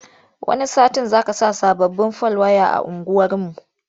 Wani satin za saka sababbin fal waya a unguwarmu.